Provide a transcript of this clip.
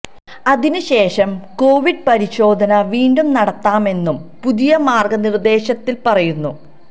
അതിന് ശേഷം കൊവിഡ് പരിശോധന വീണ്ടും നടത്താമെന്നും പുതിയ മാർഗ നിർദേശത്തില് പറയുന്നു